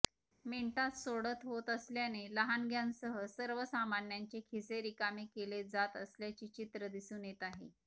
मिनिटात सोडत होत असल्याने लहानग्यांसह सर्वसामान्यांचे खिसे रिकामे केले जात असल्याचे चित्र दिसून येत आहे